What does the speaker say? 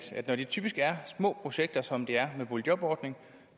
når det typisk er små projekter som det er med boligjobordningen